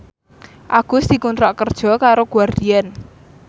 Agus dikontrak kerja karo Guardian